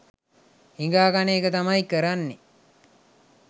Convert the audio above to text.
හිඟා කන එක තමයි කරන්නෙ